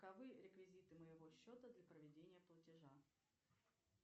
каковы реквизиты моего счета для проведения платежа